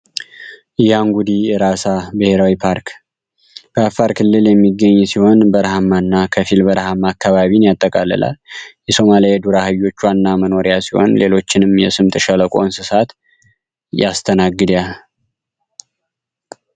ያንጉዴ ብሔራዊ ፓርክ በአፋር ክልል የሚገኝ ሲሆን በረሃማ ከረሃማ አካባቢ ያጠቃልላል የሶማሌዎቿና መኖርያ ሲሆን ሌሎችንም የስምጥ ሸለቆ ያስተናግዳ